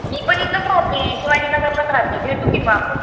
मी पण इथेच राहते शिवाजीनगरला राहते भेटू की मग आपण.